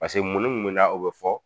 Pase mun ni mun na o be fɔ